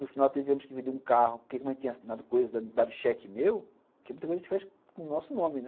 No final tivemos que vender um carro, porque a mãe tinha assinado coisa, dado cheque meu, que é muita coisa que a gente faz com o nosso nome, né?